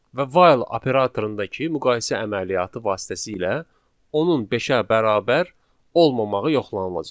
Və while operatorundakı müqayisə əməliyyatı vasitəsilə onun beşə bərabər olmamağı yoxlanılacaq.